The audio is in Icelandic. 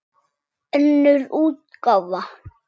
Önnur útgáfa.